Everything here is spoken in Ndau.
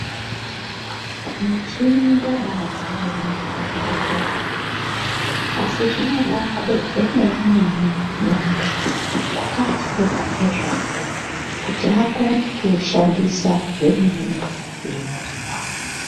Michini yabadzaremwo muzvibhehlera mwo asi zvinobade emene-mene muntu wakafunda ngezvawo kuti akone kuushandisa zvemene-mene zvinodiwa.